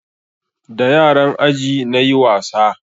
Da yaran aji na nayi wasa